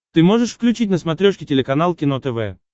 ты можешь включить на смотрешке телеканал кино тв